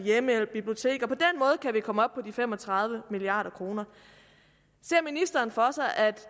biblioteker kan vi komme op på de fem og tredive milliard kroner ser ministeren for sig at